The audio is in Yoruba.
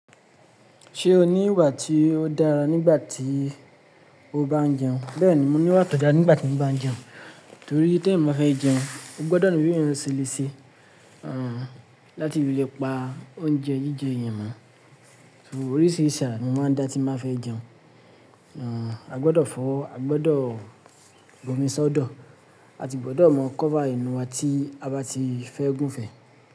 Ṣé o ní ìwà tí ó dára nígbà tí o bá ń jẹun? Bẹ́ẹ̀ni, mo ní ìwà tó dára nígbà tí mo bá ń jẹun, torí tí èmi máa fẹ́ jẹun, mo gbọ́dọ̀ ni bi eyan se léṣe, àn, láti fi lè pa oúnjẹ jíjẹ eyàn mó. Oríṣìíríṣà ara ni mo máa ń dá tí mo ba fẹ́ jẹun. Àn, a gbọ́dọ̀ fọwọ́, a gbọ́dọ̀ bu omi sọ́dọ̀, a si gbọ́dọ̀ mọ cover enú wa tí a bá ti fẹ́ gún ún fẹ́.